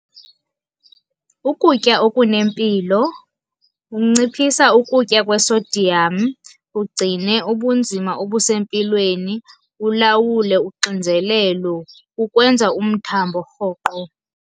Ukutya okunempilo, unciphisa ukutya kwe-sodium ugcine ubunzima obusempilweni, ulawule uxinzelelo kukwenza umthambo rhoqo.